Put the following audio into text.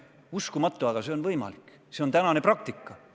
Uskumatu, aga see on võimalik, see on tänane praktika.